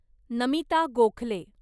Namita Gokhale